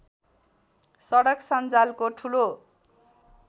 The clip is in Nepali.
सडक सन्जालको ठूलो